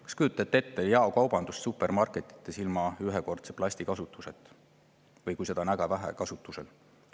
Kas te kujutate ette jaekaubandust või supermarketeid, mis ei kasuta ühekordset plasti või kasutavad väga vähe plasti?